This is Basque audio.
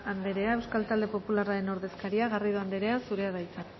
anderea euskal talde popularraren ordezkaria garrido anderea zurea da hitza